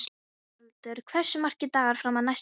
Dómaldur, hversu margir dagar fram að næsta fríi?